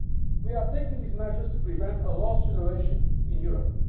We are taking these measures to prevent a lost generation' in Europe.